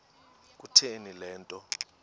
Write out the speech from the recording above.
kutheni le nto